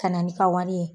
Ka na n'i ka wari ye